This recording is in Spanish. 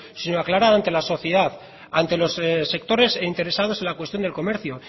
sino aclarar ante la sociedad ante los sectores interesados en la cuestión del comercio